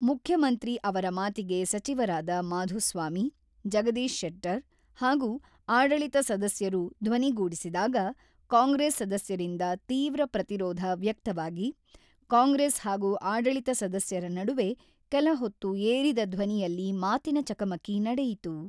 ಮುಖ್ಯಮಂತ್ರಿ ಅವರ ಮಾತಿಗೆ ಸಚಿವರಾದ ಮಾಧುಸ್ವಾಮಿ, ಜಗದೀಶ್ ಶೆಟ್ಟರ್ ಹಾಗೂ ಆಡಳಿತ ಸದಸ್ಯರು ಧ್ವನಿಗೂಡಿಸಿದಾಗ ಕಾಂಗ್ರೆಸ್ ಸದಸ್ಯರಿಂದ ತೀವ್ರ ಪ್ರತಿರೋಧ ವ್ಯಕ್ತವಾಗಿ, ಕಾಂಗ್ರೆಸ್ ಹಾಗೂ ಆಡಳಿತ ಸದಸ್ಯರ ನಡುವೆ ಕೆಲಹೊತ್ತು ಏರಿದ ಧ್ವನಿಯಲ್ಲಿ ಮಾತಿನ ಚಕಮಕಿ ನಡೆಯಿತು.